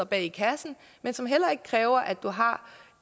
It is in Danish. bag kassen men som heller ikke kræver at du har